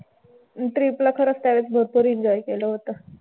Trip ला खरंच त्यावेळेस भरपूर enjoy केलं होतं.